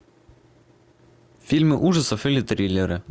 фильмы ужасов или триллеры